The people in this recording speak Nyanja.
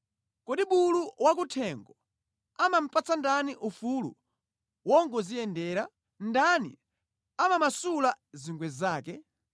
“Kodi bulu wakuthengo amamupatsa ndani ufulu wongodziyendera? Ndani amamasula zingwe zake?